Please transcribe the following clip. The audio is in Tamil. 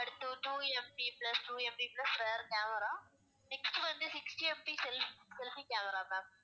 அடுத்து two MP plus two MP plus rear camera next வந்து sixty MP self~ selfie camera ma'am